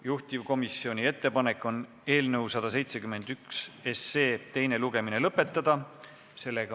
Juhtivkomisjoni ettepanek on eelnõu 171 teine lugemine lõpetada.